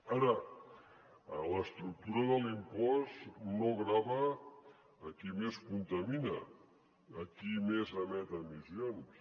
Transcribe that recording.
ara l’estructura de l’impost no grava qui més contamina qui més emet emissions